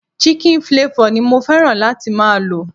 Chicken flavor ni mo fẹ́ràn láti máa lo.